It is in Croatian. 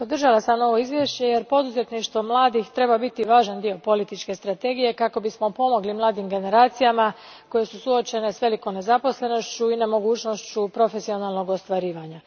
Gospodine predsjedniče, podržala sam ovo izvješće, jer poduzetništvo mladih treba biti važan dio političke strategije kako bismo pomogli mladim generacijama koje su suočene s velikom nezaposlenošću i nemogućnošću profesionalnog ostvarivanja.